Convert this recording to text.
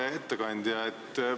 Hea ettekandja!